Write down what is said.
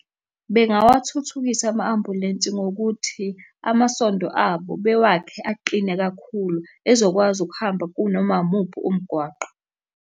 Bengawathuthukisa ama-ambulensi ngokuthi amasondo abo bewakhe aqine kakhulu ezokwazi ukuhamba kunoma umuphi umgwaqo.